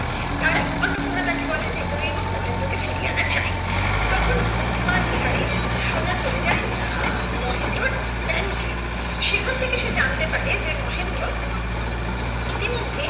অন্নপূর্ণা তাকে বলে যে করেই হোক মহেন্দ্র কে ফিরিয়ে আনা চাই তখন বুদ্ধিমান বিহারি সোজা চলে যায় মহেন্দ্রর ব্যাংকে সেখান থেকে সে জানতে পারে যে মহেন্দ্র ইতিমধ্যে